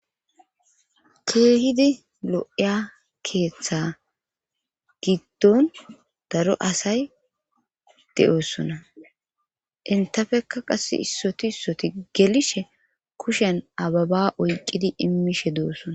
keehidi lo'iya keeththa giddon daro asay de'oossona intafeka qass issoti issoti gelishe kushen ababa oyqqidi immishe doossona